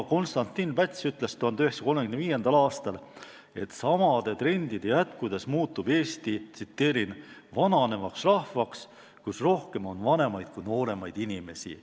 Konstantin Päts ütles 1935. aastal, et samade trendide jätkudes muutub Eesti "vananevaks rahvaks, kus rohkem on vanemaid kui nooremaid inimesi".